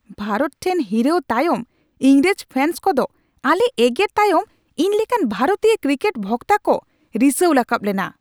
ᱵᱷᱟᱨᱚᱛ ᱴᱷᱮᱱ ᱦᱤᱨᱟᱹᱣ ᱛᱟᱭᱚᱢ ᱤᱝᱨᱮᱡᱽ ᱯᱷᱮᱱᱥ ᱠᱚᱫᱚ ᱟᱞᱮ ᱮᱜᱮᱨ ᱛᱟᱭᱚᱢ ᱤᱧ ᱞᱮᱠᱟᱱ ᱵᱷᱟᱨᱚᱛᱤᱭᱚ ᱠᱨᱤᱠᱮᱴ ᱵᱷᱚᱠᱛᱟ ᱠᱚ ᱨᱤᱥᱟᱹᱣ ᱨᱟᱠᱟᱵ ᱞᱮᱱᱟ ᱾